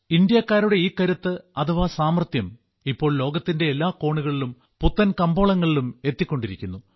ഇന്ത്യക്കാരുടെ ഈ കരുത്ത് അഥവാ സാമർത്ഥ്യം ഇപ്പോൾ ലോകത്തിന്റെ എല്ലാ കോണുകളിലും പുത്തൻ കമ്പോളങ്ങളിലും എത്തിക്കൊണ്ടിരിക്കുന്നു